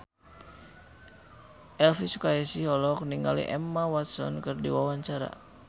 Elvy Sukaesih olohok ningali Emma Watson keur diwawancara